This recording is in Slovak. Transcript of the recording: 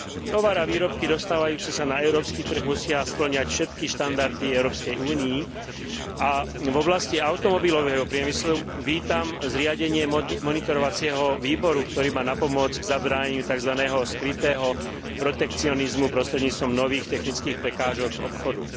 Tovar a výrobky dostávajúce sa na európsky trh musia spĺňať všetky štandardy Európskej únie a v oblasti automobilového priemyslu vítam zriadenie monitorovacieho výboru, ktorý má napomôcť zabránenie takzvaného skrytého protekcionizmu prostredníctvom nových technických prekážok obchodu.